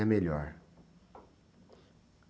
E a melhor?